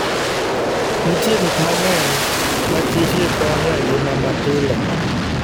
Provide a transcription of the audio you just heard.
Nitie gik mang'eny makichgi konyo e ngima mapile.